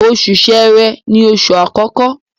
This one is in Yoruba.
Oṣù Ṣẹ̀rẹ́ ni oṣù àkọkọ